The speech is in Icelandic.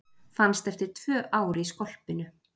Fannst eftir tvö ár í skolpinu